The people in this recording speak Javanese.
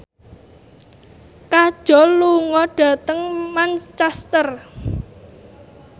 Kajol lunga dhateng Manchester